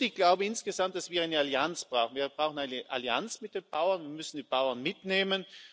Ich glaube insgesamt, dass wir eine Allianz brauchen Wir brauchen eine Allianz mit den Bauern, wir müssen die Bauern mitnehmen.